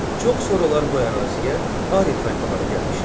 Çox sonralar bu əraziyə Ari tayfaları gəlmişlər.